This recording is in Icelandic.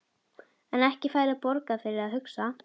En ekki færðu borgað fyrir að hugsa?